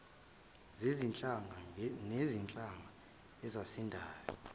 zezinhlanga ngezinhlanga ezazisanda